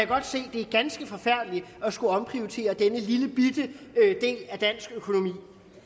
godt se det er ganske forfærdeligt at skulle omprioritere denne lillebitte del af dansk økonomi